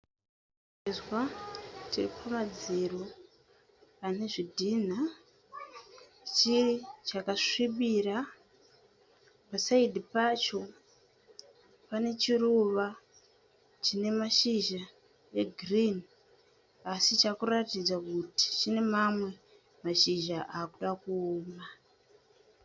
Chivezwa chiripamadziro pane zvidhina. Chakasvibira. Pa (side) pacho pane chiruva chine mashizha egirinhi asi chaakuratidza kuti chave kuratidza kuti chave nemamwe mashizha ava kuda kuoma.